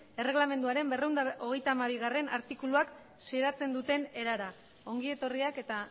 erreglamenduaren berrehun eta hogeita hamabigarrena artikuluak zeratzen duten erara ongi etorriak eta